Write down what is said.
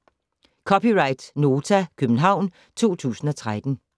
(c) Nota, København 2013